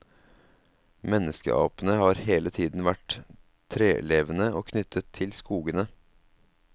Menneskeapene har hele tiden vært trelevende og knyttet til skogene.